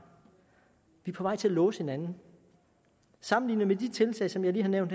vi er på vej til at låse hinanden sammenlignet med de tiltag som jeg lige har nævnt